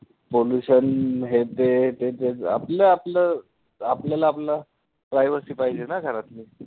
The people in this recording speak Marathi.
pollution हे ते आपलं आपलं आपल्याला आपलं privacy पाहिजे ना घरातली